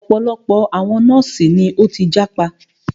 Ọ̀pọ̀lọpọ̀ àwọn nọ́ọ̀sì ni o tí jápa.